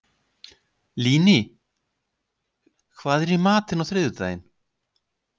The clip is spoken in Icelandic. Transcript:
Líni, hvað er í matinn á þriðjudaginn?